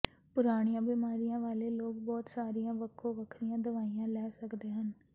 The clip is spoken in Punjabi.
ਪੁਰਾਣੀਆਂ ਬਿਮਾਰੀਆਂ ਵਾਲੇ ਲੋਕ ਬਹੁਤ ਸਾਰੀਆਂ ਵੱਖੋ ਵੱਖਰੀਆਂ ਦਵਾਈਆਂ ਲੈ ਸਕਦੇ ਹਨ